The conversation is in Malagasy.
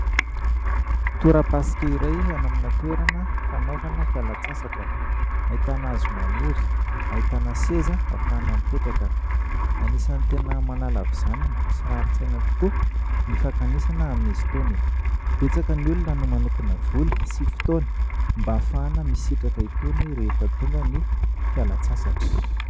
Torapasika iray any amina toerana fanaovana fialan-tsasatra, ahitana hazo maniry, ahitana seza ahafahana mipetraka. Anisany tena manala havizanana sy rarin-tsaina tokoa ny fankanesana amin'izy itony. Betsaka ny olona no manokana vola sy fotoana mba ahafahana misitraka itony rehefa tonga ny fialan-tsasatra.